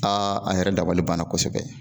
a yɛrɛ dabali banna kosɛbɛ.